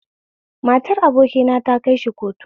Matar abokina ta kaishi kotu